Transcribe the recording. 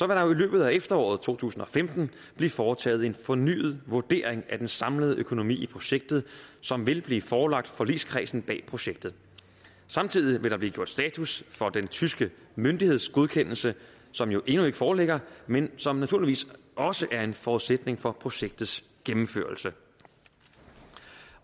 der i løbet af efteråret to tusind og femten blive foretaget en fornyet vurdering af den samlede økonomi i projektet som vil blive forelagt forligskredsen bag projektet samtidig vil der blive gjort status for den tyske myndighedsgodkendelse som jo endnu ikke foreligger men som naturligvis også er en forudsætning for projektets gennemførelse